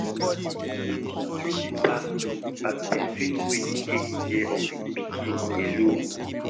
I know wetin you dey pass through as person wey dey take care of im pikin alone